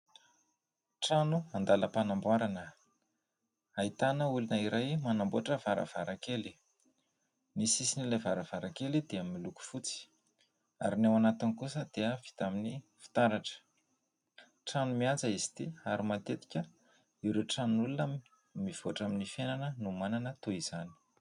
Trano andalam-panamboarana ; ahitana olona iray manamboatra varavarankely ; ny sisin' ilay varavarankely dia miloko fotsy ary ny ao anatiny kosa dia vita amin'ny fitaratra. Trano mihaja izy ity ary matetika ireo tranon'olona mivoatra amin'ny fiainana no manana toy izany.